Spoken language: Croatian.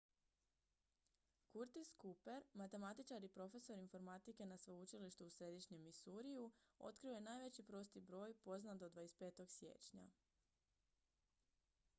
curtis cooper matematičar i profesor informatike na sveučilištu u središnjem missouriju otkrio je najveći prosti broj poznat do 25. siječnja